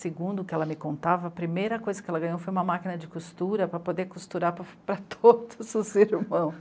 Segundo o que ela me contava, a primeira coisa que ela ganhou foi uma máquina de costura para poder costurar para todos os irmãos.